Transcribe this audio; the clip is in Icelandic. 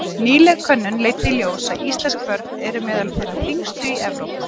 Nýleg könnun leiddi í ljós að íslensk börn eru meðal þeirra þyngstu í Evrópu.